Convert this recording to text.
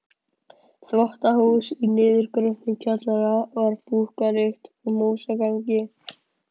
Þvottahús í niðurgröfnum kjallara með fúkkalykt og músagangi.